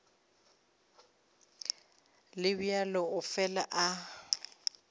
le bjalo o fela a